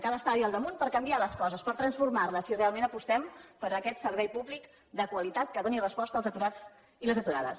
cal estar hi al damunt per canviar les coses per transformar les si realment apostem per aquest servei públic de qualitat que doni resposta als aturats i a les aturades